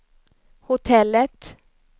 hotellet